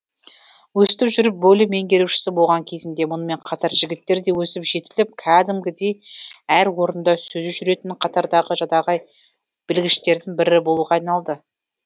өстіп жүріп бөлім меңгерушісі болған кезінде мұнымен қатар жігіттер де өсіп жетіліп кәдімгідей әр орында сөзі жүретін қатардағы жадағай білгіштердің бірі болуға айналды